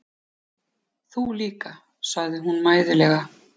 Þú líka, segir hún mæðulega.